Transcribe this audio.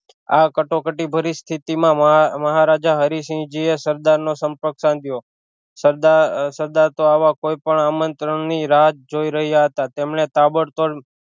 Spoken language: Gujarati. આ કટોકટી ભરી સ્થિતિ માં મહા મહારાજા હરિસિહજી એ સરદાર નો સંપર્ક સાધ્યો સરદાર સરદાર તો આવા કોઈ પણ આમંત્રણ ની રાહ જ જોઈ રહ્યા હતા તેમણે તાબડતોડ